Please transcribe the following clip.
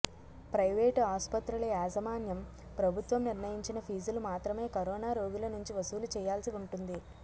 private ఆసుపత్రుల యాజమాన్యం ప్రభుత్వం నిర్ణయించిన ఫీజులు మాత్రమే కరోనా రోగుల నుంచి వసూలు చెయ్యాల్సి ఉంటుంది